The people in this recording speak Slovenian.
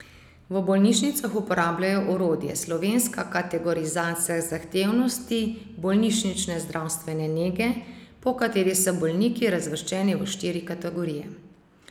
V bolnišnicah uporabljajo orodje Slovenska kategorizacija zahtevnosti bolnišnične zdravstvene nege, po kateri so bolniki razvrščeni v štiri kategorije.